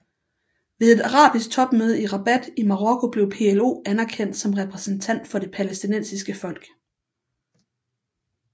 Ved et arabisk topmøde i Rabat i Marokko blev PLO anerkendt som repræsentant for det palæstinensiske folk